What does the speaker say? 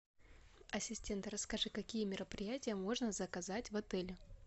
ассистент расскажи какие мероприятия можно заказать в отеле